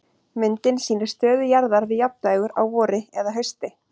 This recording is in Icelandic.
Myndin sýnir stöðu jarðar við jafndægur á vori eða hausti.